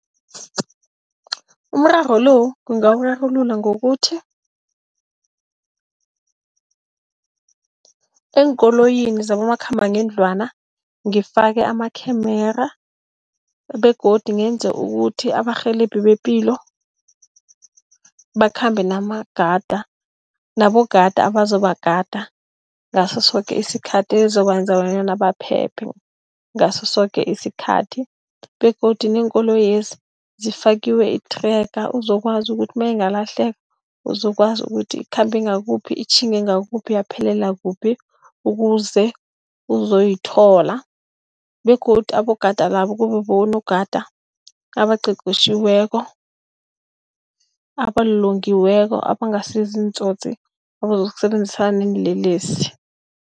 Umraro lo ungawurarulula ngokuthi, eenkoloyini zabo makhambangendlwana, ngifake amakhemera begodu ngenze ukuthi abarhelebhi bepilo bakhambe nabonogada abazobagada ngasosoke isikhathi ezobenza bonyana baphephe ngaso soke isikhathi. Begodu neenkoloyezi, zifakwe ithrega uzokwazi ukuthi nayingalahleka uzokwazi ukuthi ikhambe ngakuphi, itjhinge ngakuphi yaphelelaphi. Ukuze uzoyithola begodu abogada labo kube bonagada abaqeqetjhiweko, abalolongiweko abangasi ziintsotsi abazokusebenzisana neenlelesi.